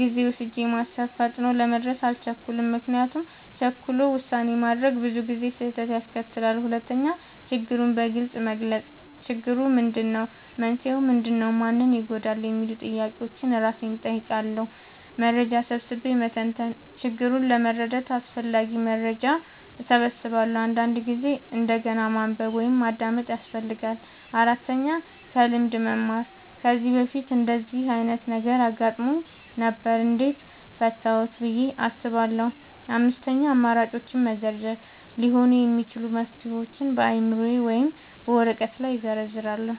ጊዜ ወስጄ ማሰብ – ፈጥኖ ለመድረስ አልቸኩልም፤ ምክንያቱም ቸኩሎ ውሳኔ ማድረግ ብዙ ጊዜ ስህተት ያስከትላል። 2. ችግሩን በግልጽ መግለጽ – "ችግሩ ምንድነው? መንስኤው ምንድነው? ማን ይጎዳል?" የሚሉ ጥያቄዎችን እራሴን እጠይቃለሁ። 3. መረጃ ሰብስቤ መተንተን – ችግሩን ለመረዳት አስፈላጊ መረጃ እሰበስባለሁ፤ አንዳንድ ጊዜ እንደገና ማንበብ ወይም ማዳመጥ ያስፈልጋል። 4. ከልምድ መማር – "ከዚህ በፊት እንደዚህ ዓይነት ነገር አጋጥሞኝ ነበር? እንዴት ፈታሁት?" ብዬ አስባለሁ። 5. አማራጮችን መዘርዘር – ሊሆኑ የሚችሉ መፍትሄዎችን በአእምሮዬ ወይም በወረቀት ላይ እዘርዝራለሁ።